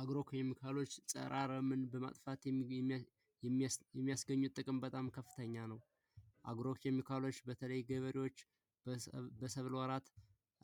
አግሮ ኬሚካሎች ፀረ አረምን በማጥፋት የሚያስገኙት ጥቅም በጣም ከፍተኛ ነው የአካሎች በተለይ ገበሬዎች በሰብል ወራት